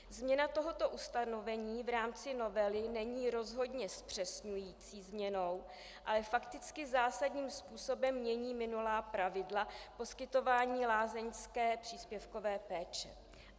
Změna tohoto ustanovení v rámci novely není rozhodně zpřesňující změnou, ale fakticky zásadním způsobem mění minulá pravidla poskytování lázeňské příspěvkové péče.